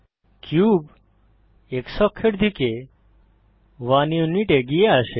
cube x অক্ষের দিকে 1 unit এগিয়ে আসে